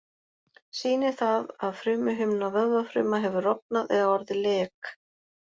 Sýnir það að frumuhimna vöðvafruma hefur rofnað eða orðið lek.